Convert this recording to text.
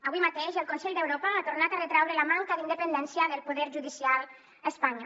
avui mateix el consell d’europa ha tornat a retraure la manca d’independència del poder judicial a espanya